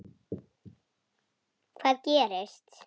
Hvað gerist?